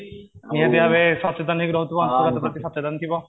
ସଚେତନ